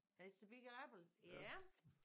It's the big apple ja